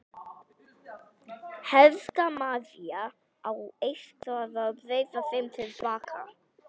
Helga María: Á eitthvað að breyta þeim til baka?